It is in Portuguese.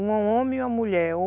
Um homem e uma mulher.